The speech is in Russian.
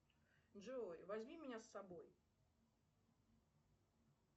джой возьми меня с собой